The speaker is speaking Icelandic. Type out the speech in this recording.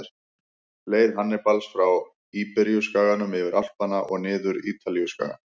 Leið Hannibals frá Íberíuskaganum, yfir Alpana og niður Ítalíuskagann.